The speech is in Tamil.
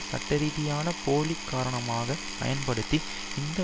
சட்டரீதியான போலி காரணமாக பயன்படுத்தி இந்த